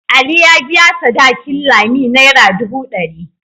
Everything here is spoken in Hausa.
Ali ya biya sadakin Lami naira dubu dari.